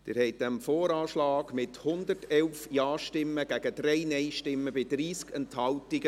Sie haben diesem VA zugestimmt, mit 111 Ja- zu 3 Nein-Stimmen bei 30 Enthaltungen.